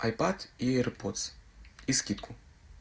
айпад эир подс и скидку